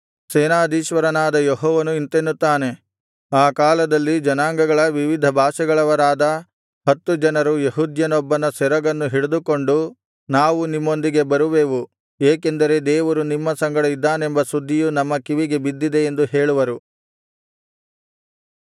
ಸೇನಾಧೀಶ್ವರನಾದ ಯೆಹೋವನು ಇಂತೆನ್ನುತ್ತಾನೆ ಆ ಕಾಲದಲ್ಲಿ ಜನಾಂಗಗಳ ವಿವಿಧ ಭಾಷೆಗಳವರಾದ ಹತ್ತು ಜನರು ಯೆಹೂದ್ಯನೊಬ್ಬನ ಸೆರಗನ್ನು ಹಿಡಿದುಕೊಂಡು ನಾವು ನಿಮ್ಮೊಂದಿಗೆ ಬರುವೆವು ಏಕೆಂದರೆ ದೇವರು ನಿಮ್ಮ ಸಂಗಡ ಇದ್ದಾನೆಂಬ ಸುದ್ದಿಯು ನಮ್ಮ ಕಿವಿಗೆ ಬಿದ್ದಿದೆ ಎಂದು ಹೇಳುವರು